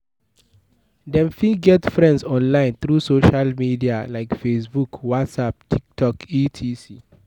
Dem fit get friends online through social media like Fabebook what'sapp Tiktok etc.